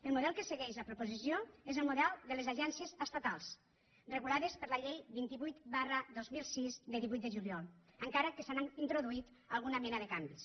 el model que segueix la proposició és el model de les agències estatals regulades per la llei vint vuit dos mil sis de divuit de juliol encara que s’hi ha introduït alguna mena de canvis